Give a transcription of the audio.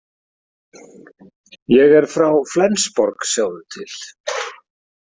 Ég er frá Flensborg, sjáðu til.